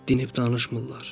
Dinib danışmırlar.